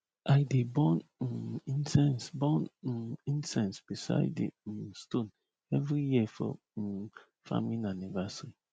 i dey burn um incense burn um incense beside di um stone every year for um farming anniversary